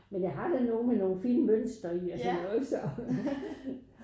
Men jeg har da nogen med nogle fine mønster i altså det jo ikke så